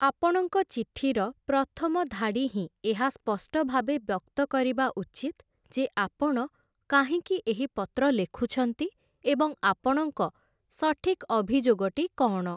ଆପଣଙ୍କ ଚିଠିର ପ୍ରଥମ ଧାଡ଼ି ହିଁ ଏହା ସ୍ପଷ୍ଟ ଭାବେ ବ୍ୟକ୍ତ କରିବା ଉଚିତ୍ ଯେ ଆପଣ କାହିଁକି ଏହି ପତ୍ର ଲେଖୁଛନ୍ତି ଏବଂ ଆପଣଙ୍କ ସଠିକ୍‌ ଅଭିଯୋଗଟି କ'ଣ ।